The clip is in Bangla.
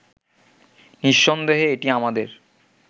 নিঃসন্দেহে এটি আমাদের